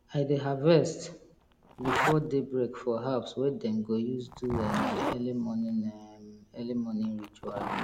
i dey harvest before day break for herbs wey dem go use do um early morning um early morning ritual